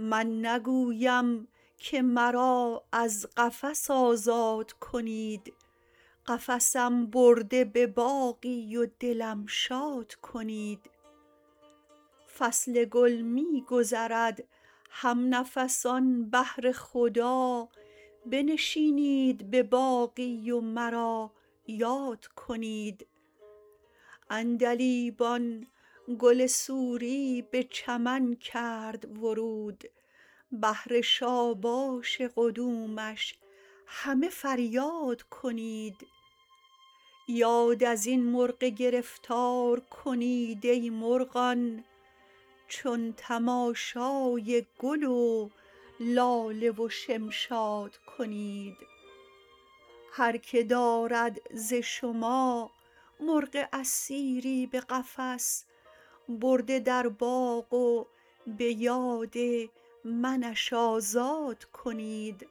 من نگویم که مرا از قفس آزاد کنید قفسم برده به باغی و دلم شاد کنید فصل گل می گذرد هم نفسان بهر خدا بنشینید به باغی و مرا یاد کنید عندلیبان گل سوری به چمن کرد ورود بهر شاباش قدومش همه فریاد کنید یاد از این مرغ گرفتار کنید ای مرغان چون تماشای گل و لاله و شمشاد کنید هرکه دارد ز شما مرغ اسیری به قفس برده در باغ و به یاد منش آزاد کنید